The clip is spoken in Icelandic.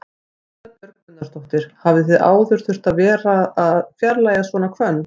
Erla Björg Gunnarsdóttir: Hafið þið áður þurft að vera að fjarlægja svona hvönn?